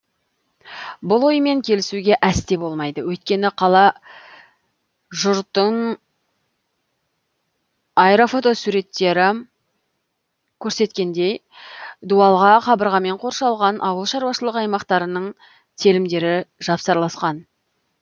бұл оймен келісуге әсте болмайды өйткені кала жұрттың аэрофотосуреттері көрсеткендей дуалға қабырғамен қоршалған ауылшаруашылық аймақтарының телімдері жапсарласқан